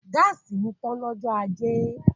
Gáàsì mi tán ní ọjọ́ ajé